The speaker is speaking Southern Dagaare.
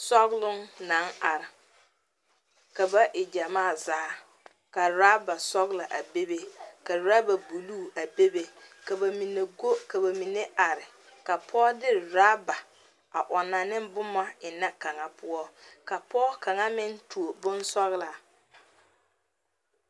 Sɔgloŋ naŋ are ka ba e gyamaa zaa ka ɔraba sɔglɔ bebe ka ɔraba buluu a bebe a bebe ka ba mine go ka ba mine are ka pɔge de ɔraba a ɔnnɔ ne boma ennɛ kaŋa poɔ ka pɔge kaŋa meŋ tuo bonsɔglɔ.